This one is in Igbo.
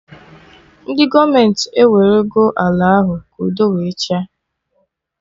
Ndị gọọmenti ewere ọ ala ahụ ka udo wee chịa